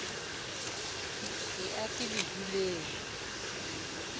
e a ke le duleng